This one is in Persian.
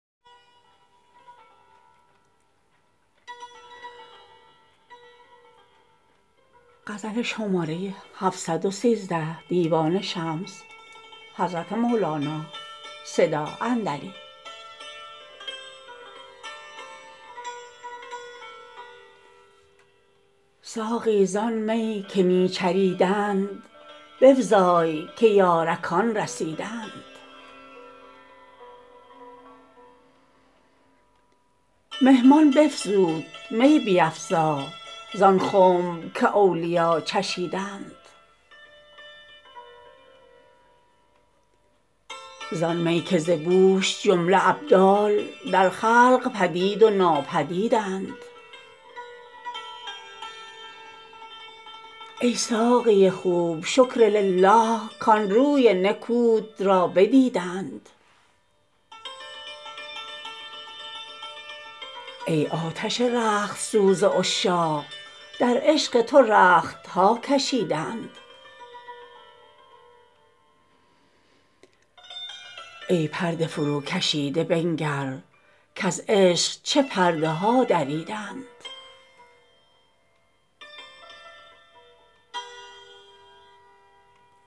ساقی زان می که می چریدند بفزای که یارکان رسیدند مهمان بفزود می بیفزا زان خنب که اولیا چشیدند زان می که ز بوش جمله ابدال در خلق پدید و ناپدیدند ای ساقی خوب شکرلله کان روی نکوت را بدیدند ای آتش رخت سوز عشاق در عشق تو رخت ها کشیدند ای پرده فروکشیده بنگر کز عشق چه پرده ها دریدند